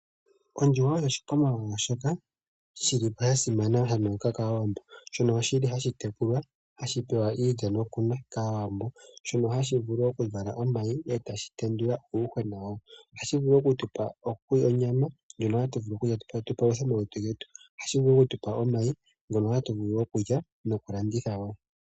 Ondjuhwa osho oshikwamawawa shoka sha simanekwa kAawambo shoka hashi tekulwa, hashi pewa iilya nokunwa kAawambo e tashi vala omayi e tashi tendula uuyuhwena washo. Ohashi vulu okutu pa onyama ndjoka hatu vulu okulya tu paluthe omalutu getu. Ohashi vulu okutu pa omayi ngoka hatu vulu okulya nokulanditha wo.